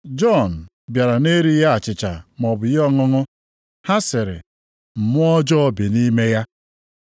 Jọn bịara na-erighị achịcha maọbụ ihe ọṅụṅụ. Ha sịrị, ‘Mmụọ ọjọọ bi nʼime ya.’